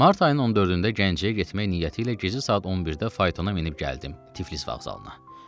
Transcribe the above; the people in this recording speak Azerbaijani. Mart ayının 14-də Gəncəyə getmək niyyəti ilə gizi saat 11-də faytona minib gəldim Tiflis vağzalına.